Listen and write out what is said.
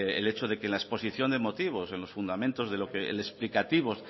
el hecho de que en la exposición de motivos en los fundamentos de lo que el explicativo